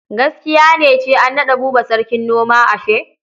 Giskiya ne cew an naɗa Buba sarkin noma ashe?